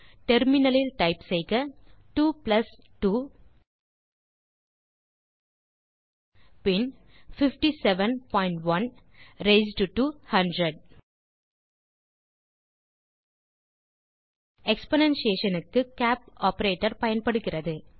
terminal லில் type செய்க 2 plus 2 பின் 57 பாயிண்ட் 1 ரெய்ஸ்ட் டோ 100 எக்ஸ்போனென்ஷியேஷன் க்கு கேப் ஆப்பரேட்டர் பயன்படுகிறது